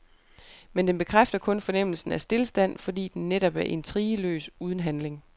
Men den bekræfter kun fornemmelsen af stilstand, fordi den netop er intrigeløs, uden handling.